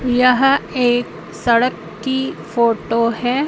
यह एक सड़क की फोटो है।